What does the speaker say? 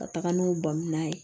Ka taga n'u bamuya ye